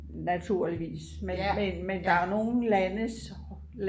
naturligvis men der er nogen landes